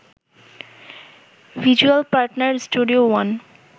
visual partner studio one